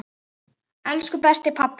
Elsku besti pabbi!